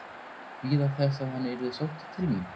Bíða þess að hann yrði sóttur til mín?